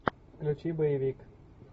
включи боевик